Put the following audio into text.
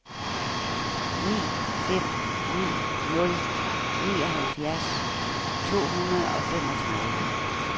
ni fem ni nul nioghalvfjerds to hundrede og femogtredive